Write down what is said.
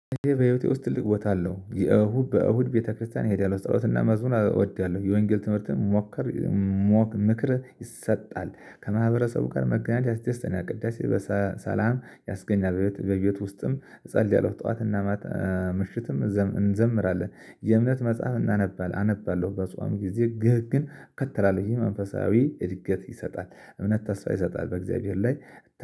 በህይወቴ ውስጥ ትልቅ ቦታ አለው። የእሁድ በእሁድ ቤተክርስቲያን እሄዳለሁ ጸሎትና መዝሙር እወዳለሁ፣ የወንጌል ትምህርትን ምክርም ይሰጣል፣ ከማህበረሰቡ ጋር መገናኘት ይስደስተኛል፣ ቅዳሴ ሰላም ያስገኛል፣ በቤት ውስጥም እጸልያለሁ ጠዋትና ምሽትም እንዘምራለን፣ የእምነትመጽሐፍ አነባለሁ በጾም ጊዜ ህግን እከተላለሁ መንፈሳዊ እድገት ይሰጣል፣ እምነት ተስፋ ይሰጣል በእግዚአብሔር ላይ